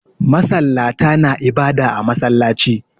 Masallata na ibada a masallaci